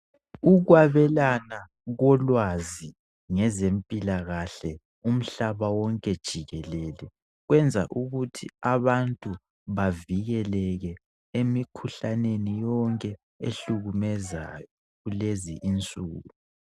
Ukwabelana kolwazi ngezempilakahle umhlaba wonke jikelele kwenza ukuthi abantu bavikeleke emikhuhlaneni yonke ehlukumezayo kulezinsuku.